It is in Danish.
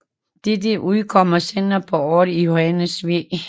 Den udkom senere på året i Johannes V